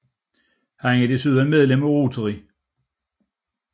Han er desuden medlem af Rotary